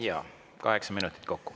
Jaa, kaheksa minutit kokku.